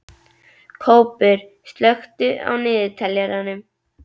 Kópur, slökktu á niðurteljaranum.